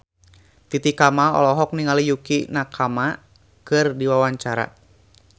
Titi Kamal olohok ningali Yukie Nakama keur diwawancara